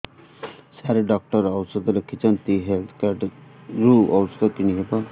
ସାର doctor ଔଷଧ ଲେଖିଛନ୍ତି health card ରୁ ଔଷଧ କିଣି ହେବ